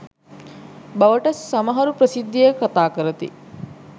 බවට සමහරු ප්‍රසිද්ධියේ කතා කරති.